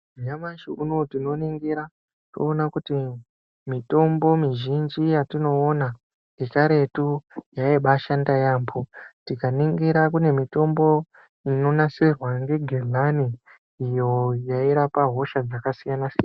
Nyamashi unoo tinoningira toona kuti mitombo mizhinji yatinoona yekaretu yaibaashanda yaamho tikaningira kune mitombo inonasirwa ngegenani iyo yairapa hosha dzakasiyana siyana.